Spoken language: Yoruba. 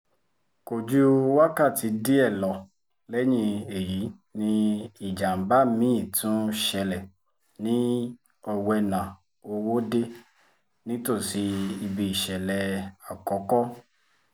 kò ju wákàtí díẹ̀ lọ lẹ́yìn èyí ni ìjàm̀bá mi-ín tún ṣẹlẹ̀ ní owena-òwòde nítòsí ibi ìṣẹ̀lẹ̀ àkọ́kọ́